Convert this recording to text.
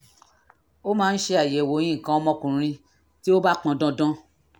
a máa ń ṣe àyẹ̀wò nǹkan ọmọkùnrin bí ó bá pọn dandan